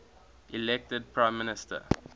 elected prime minister